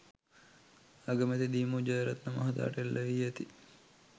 අගමැති දි.මු ජයරත්න මහතාට එල් වී ඇති